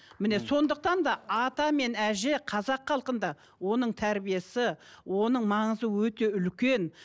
міне сондықтан да ата мен әже қазақ халқында оның тәрбиесі оның маңызы өте үлкен